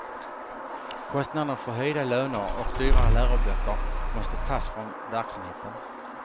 Kostnaderna för höjda löner och dyrare läroböcker måste tas från verksamheten.